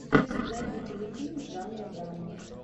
найди телефильм жанра драма